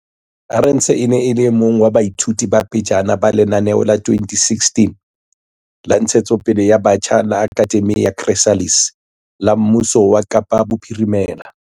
Arendse e ne e le e mong wa baithuti ba pejana ba lenaneo la 2016 la ntshetsopele ya batjha la Akhademi ya Chrysalis la mmuso wa Kapa Bophirimela.